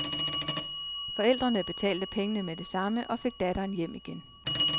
Forældrene betalte pengene med det samme og fik datteren hjem igen.